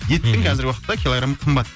еттің қазіргі уақытта килограмы қымбат